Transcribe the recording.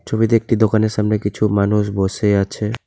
ছবিতে একটি দোকানের সামনে কিছু মানুষ বসে আছে।